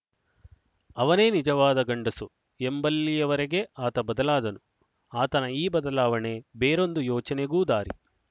ಅವನೇ ನಿಜವಾದ ಗಂಡಸು ಎಂಬಲ್ಲಿಯವರೆಗೆ ಆತ ಬದಲಾದನು ಆತನ ಈ ಬದಲಾವಣೆ ಬೇರೊಂದು ಯೋಚನೆಗೂ ದಾರಿ